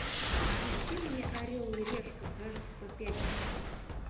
включи мне орел и решку кажется по пятнице